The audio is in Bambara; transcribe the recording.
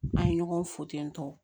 N'a ye ɲɔgɔn fo ten tɔ